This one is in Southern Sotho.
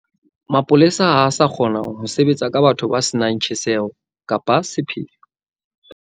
Mapolasi ha a sa kgona ho sebetsa ka batho ba se nang tjheseho kapa sepheo.